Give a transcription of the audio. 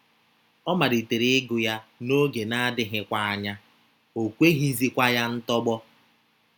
Ọ malitere ịgụ ya, n’oge na - adịghịkwa anya, o kweghịzikwa ya ntọgbọ.